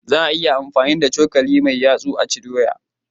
Za a iya amfani da cokali mai yatsu a ci doya